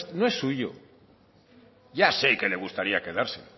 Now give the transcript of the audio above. no es suyo ya sé que le gustaría quedárselo